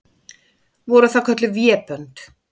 Voru það kölluð vébönd.